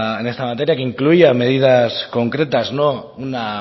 que incluía medidas concretas no una